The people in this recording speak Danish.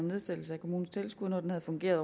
nedsættelse af kommunens tilskud når den havde fungeret